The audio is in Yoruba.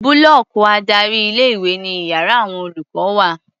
Búlọ́ọ̀kì adárí ilé-ìwé ni iyàrá àwon olùkọ́ wà.